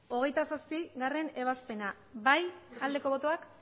hogeita zazpigarrena ebazpena aldeko botoak